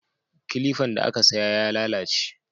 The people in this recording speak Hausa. Kilifan da aka saya ya lalace